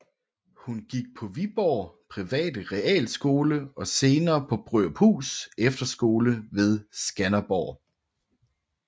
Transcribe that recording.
Hun gik på Viborg private Realskole og senere på Brøruphus Efterskole ved Skanderborg